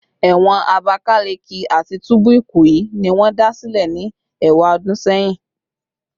Ewon Abakaleke ati tubu Ikoyi ni won da sile ni ewadun seyin